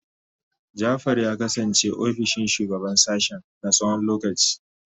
Jafar ya kasance ofishin shugaban sashen na tsawon lokaci.